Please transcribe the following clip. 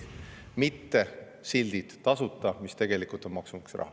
Seda ei tee silt "Tasuta", kui tegelikult on kasutatud maksumaksja raha.